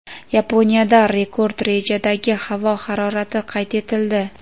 Yaponiyada rekord darajadagi havo harorati qayd etildi.